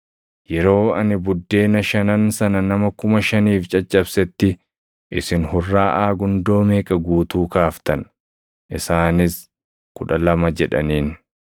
Yeroo ani buddeena shanan sana nama kuma shaniif caccabsetti isin hurraaʼaa gundoo meeqa guutuu kaaftan?” Isaanis, “Kudha lama” jedhaniin.